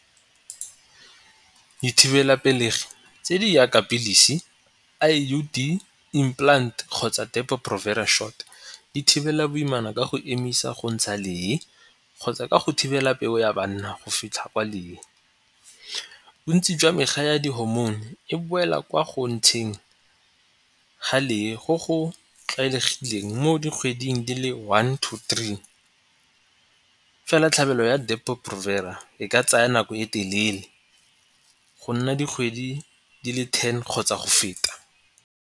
Dithibelapelegi tse di yaka pilisi, I_U_D, implant kgotsa depo provera shot di thibela boimana ka go emisa go ntsha lee kgotsa ka go thibela peu ya banna go fitlha kwa leeng. Bontsi jwa mekgwa ya di hormone e boela kwa go ntsheng ga lee go go tlwaelegileng mo dikgweding di le one to three fela tlhabelo ya depo provera e ka tsaya nako e telele go nna dikgwedi di le ten kgotsa go feta.